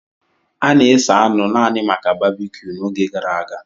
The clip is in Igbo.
A na-esa anụ naanị maka babecue n'oge gara aga.